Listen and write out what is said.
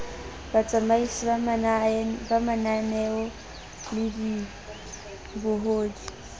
batsamaisi ba mananeo le dibohodi